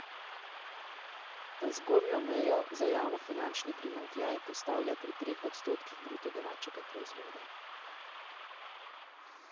Ta zgornjo mejo za javnofinančni primanjkljaj postavlja pri treh odstotkih bruto domačega proizvoda.